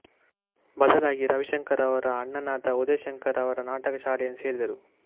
ಬದಲಾಗಿ ರವಿಶಂಕರ್ ಅವರ ಅಣ್ಣನಾದ ಉದಯ ಶಂಕರ್ ಅವರ ನಾಟಕ ಶಾಲೆಯನ್ನು ಸೇರಿದರು